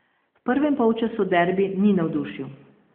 V prvem polčasu derbi ni navdušil.